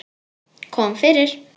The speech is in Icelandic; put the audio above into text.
Kom fyrir.